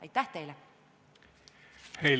Aitäh teile!